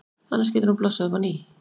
Annars getur hún blossað upp á ný.